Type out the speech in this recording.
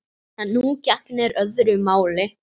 En nú gegnir öðru máli.